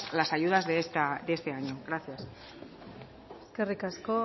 las ayudas de este año gracias eskerrik asko